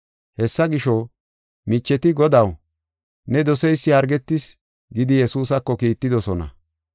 Hessa gisho, micheti, “Godaw, ne doseysi hargetis” gidi Yesuusako kiittidosona.